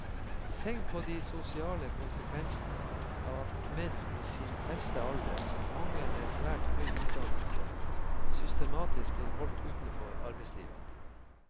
Tenk på de sosiale konsekvensene av at menn i sin beste alder, mange med svært høy utdannelse, systematisk blir holdt utenfor arbeidslivet.